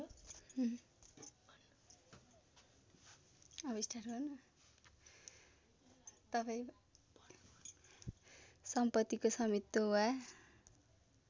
सम्पत्तिको स्वामित्व वा